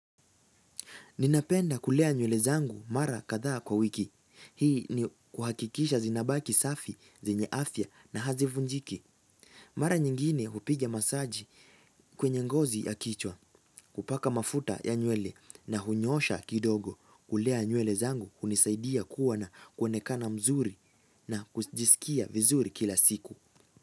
Ninapenda kulea nywele zangu mara kadhaa kwa wiki. Hii ni kuhakikisha zinabaki safi, zenye afya na hazivunjiki. Mara nyingine hupiga masaji kwenye ngozi ya kichwa, kupaka mafuta ya nywele na hunyoosha kidogo kulea nywele zangu hunisaidia kuwa na kuoenekana mzuri na kujisikia vizuri kila siku.